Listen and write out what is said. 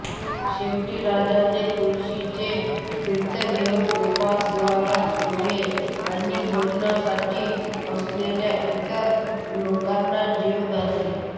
शेवटी राजाने तुळशीचे तीर्थ घेऊन उपवास सोडला आणि भोजनासाठी आलेल्या इतर लोकांना जेवू घातले